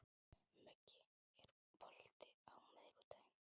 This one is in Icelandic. Muggi, er bolti á miðvikudaginn?